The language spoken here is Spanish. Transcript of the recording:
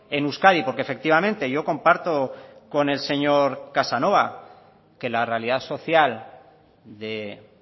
en euskadi porque efectivamente yo comparto con el señor casanova que la realidad social de